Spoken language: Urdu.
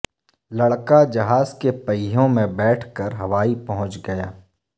لڑکا جہاز کے پہیوں میں بیٹھ کر ہوائی پہنچ گیا